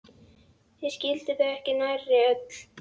Ég skildi þau ekki nærri öll.